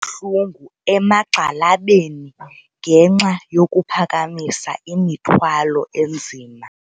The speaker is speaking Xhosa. Kubuhlungu emagxalabeni ngenxa yokuphakamisa imithwalo enzima.